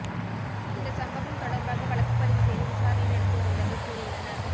இந்த சம்பவம் தொடர்பாக வழக்குப்பதிவு செய்து விசாரணை நடத்தி வருவதாக கூறியுள்ளனர்